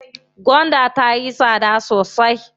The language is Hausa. Gwanda tayi tsada sosai.